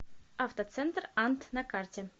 автоцентр ант на карте